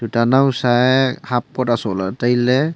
ta nowsa e coat haft coat a soh lah ley tai ley.